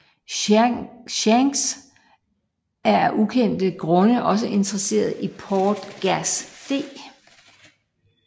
Shanks er af ukendte grunde også interesseret i Portgas D